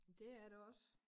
Det er det også